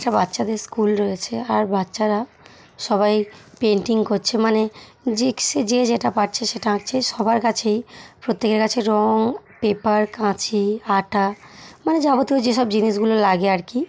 আচ্ছা বাচ্চাদের স্কুল রয়েছে আর বাচ্চারা সবাই পেন্টিং করছে মানে জিক্সে যে যেটা পারছে সেটা আঁকছে সবার কাছেই প্রত্যেকের কাছে রং পেপার কাঁচি আটা মানে যাবতীয় যে সব জিনিসগুলো লাগে আরকি।